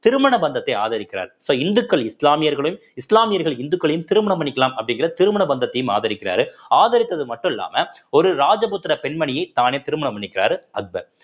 திருமண பந்தத்தை ஆதரிக்கிறார் so இந்துக்கள் இஸ்லாமியர்களையும் இஸ்லாமியர்கள் இந்துக்களையும் திருமணம் பண்ணிக்கலாம் அப்படிங்கிற திருமண பந்தத்தையும் ஆதரிக்கிறாரு ஆதரித்தது மட்டும் இல்லாம ஒரு ராஜபுத்திர பெண்மணியை தானே திருமணம் பண்ணிக்கிறாரு அக்பர்